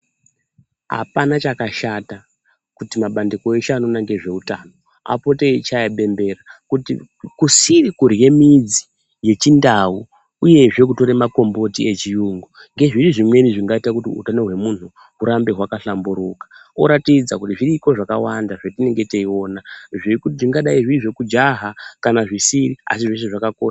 Hapana chakashata kuti mabandiko eshe anoona nezveutano apote eichaye bembera kuti kusiri kudywe midzi yechindau, uyezve kutore makomboti echiyungu ngezvimwe zvingaite kuti utano hwemunhu urambe hwakahlamburuka, oratidza kuti zviriko zvakawanda zvetinenge teiona, zvekuti tingadai zviri zvekujahaa kana zvisiri asi zveshe zvakakoshaa.